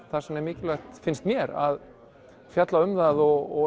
þess vegna er mikilvægt finnst mér að fjalla um það og